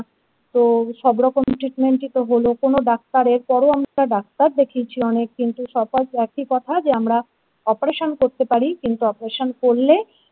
তো সব রকম treatment তো হলো কোনো ডাক্তারের পরও আমরা ডাক্তার দেখিয়েছি অনেক কিন্তু শোকজ একই কথা যে আমরা operation করতে পারি কিন্তু operation করলে।